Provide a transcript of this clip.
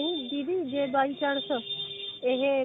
ਨਹੀਂ ਦੀਦੀ ਜੇ by chance ਇਹ